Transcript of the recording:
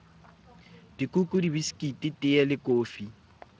dikuku dibiskiti teye le kofi